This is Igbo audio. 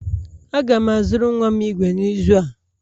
Aga m azụrụ nwa m igwe n'izu a